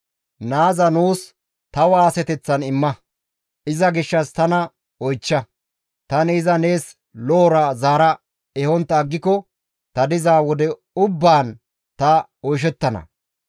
Naaza nuus ta waaseteththan imma; iza gishshas tana oychcha; tani iza nees lo7ora zaara ehontta aggiko ta diza wode ubbaan ta oyshettana.